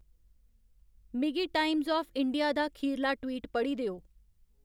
मिगी Times of India दा खीरला ट्वीट पढ़ी देओ